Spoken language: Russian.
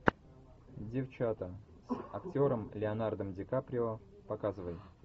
девчата с актером леонардо ди каприо показывай